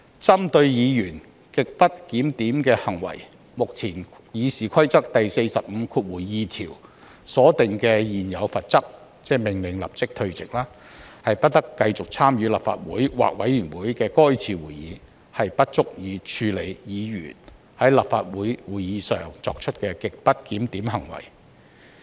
針對議員極不檢點的行為，目前《議事規則》第452條所訂的現有罰則——即命令有關議員立即退席，不得繼續參與立法會或委員會的該次會議——不足以處理議員在立法會會議上作出的極不檢點行為。